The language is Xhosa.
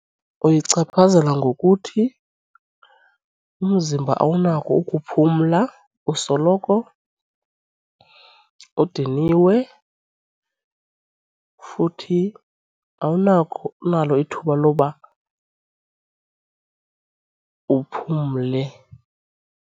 Uyichaphazela ngokuthi umzimba awunako ukuphumla usoloko udiniwe futhi awunakho ithuba loba uphumle.